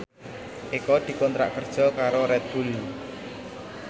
Eko dikontrak kerja karo Red Bull